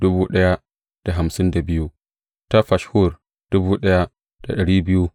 Zuriyar Yeshuwa da Kadmiyel ta wurin Hodeba saba'in da hudu.